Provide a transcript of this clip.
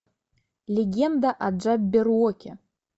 легенда о джабберуоке